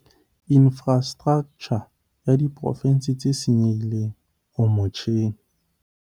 infrastraktjha ya diporo tse senyehileng o motjheng.